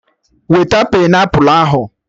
Weta painiapụlụ ahụ!